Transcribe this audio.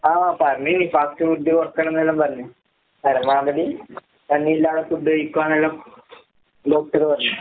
ആഹ് പറഞ്ഞിന് fast food കൊറക്കണന്നെല്ലാം പറഞ്ഞ്. പരമാവധി എണ്ണയില്ലാതെ ഫുഡ് കഴിക്കുവാന്നെല്ലാം ഡോക്ടറ് പറഞ്ഞ്.